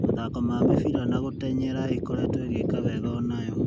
Mathako ma mĩbira na gũtenyera ĩkoretwo ĩgĩka wega onayo.